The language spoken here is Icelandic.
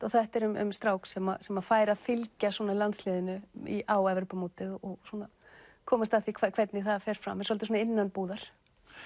þetta er um strák sem sem að fær að fylgja landsliðinu á Evrópumótið og komast að því hvernig það fer fram er svolítið innanbúðar